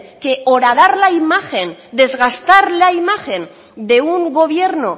que horadar la imagen desgastar la imagen de un gobierno